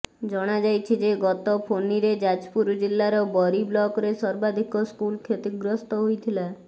ଜଣାଯାଇଛି ଯେ ଗତ ଫାନିରେ ଯାଜପୁର ଜିଲ୍ଲାର ବରୀ ବ୍ଲକ୍ରେ ସର୍ବାଧିକ ସ୍କୁଲ୍ କ୍ଷତିଗ୍ରସ୍ତ ହୋଇଥିଲା